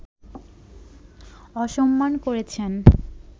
অসম্মান করেছেন